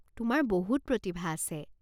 তোমাৰ বহুত প্ৰতিভা আছে।